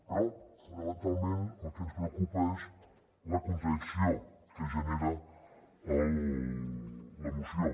però fonamentalment el que ens preocupa és la contradicció que genera la moció